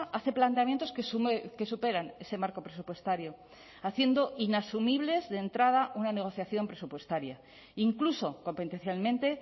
hace planteamientos que superan ese marco presupuestario haciendo inasumibles de entrada una negociación presupuestaria incluso competencialmente